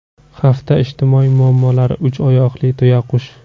Hafta ijtimoiy muammolari: Uch oyoqli tuyaqush.